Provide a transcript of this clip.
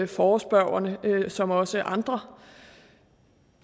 forespørgerne som også andre